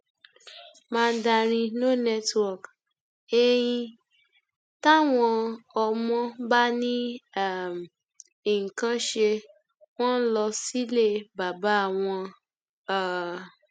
mandarin no network ein táwọn ọmọ bá ní um nǹkan án ṣe wọn ń lọ sílé bàbá wọn um